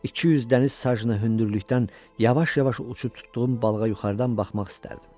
200 dəniz sajnı hündürlükdən yavaş-yavaş uçub tutduğum balığa yuxarıdan baxmaq istərdim.